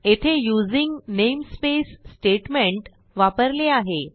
येथे using namespace statement वापरले आहे